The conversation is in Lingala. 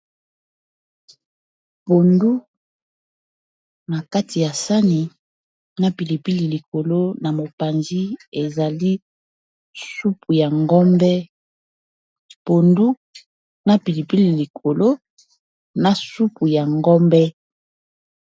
Pondu na kati ya sani na pilipili likolo na mopanzi ezali supu ya ngombe pondu na pilipili likolo na supu ya ngombe.